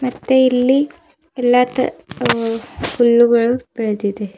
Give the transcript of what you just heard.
ಮತ್ತೆ ಇಲ್ಲಿ ಎಲ್ಲ ತ ಅ ಹುಲ್ಲುಗಳು ಬೆಳೆದಿದೆ.